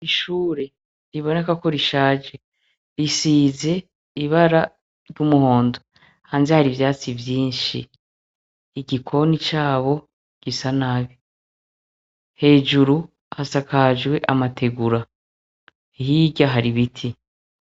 Ishure ribonekako rishaje risiz' ibara ry' umuhondo, hanze har' ivyatsi vyinshi, igikoni cabo gisa nabi, hejuru hasakajw' amatigura, hirya har' iibiti.